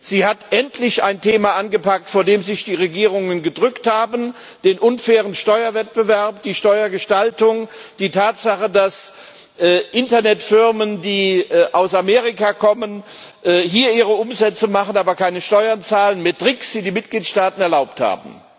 Sie hat endlich ein Thema angepackt, vor dem sich die Regierungen gedrückt haben den unfairen Steuerwettbewerb, die Steuergestaltung, die Tatsache, dass Internetfirmen, die aus Amerika kommen, hier ihre Umsätze machen, aber keine Steuern zahlen, und zwar mit Tricks, die die Mitgliedstaaten erlaubt haben.